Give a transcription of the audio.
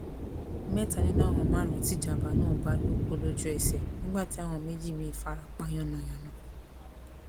mẹta nínú àwọn márùnún tí ìjàmbá náà bá lọ kú lójúẹsẹ nígbà tí àwọn méjì míín fara pa yánnayànna